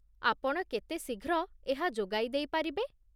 ଆପଣ କେତେ ଶୀଘ୍ର ଏହା ଯୋଗାଇ ଦେଇପାରିବେ?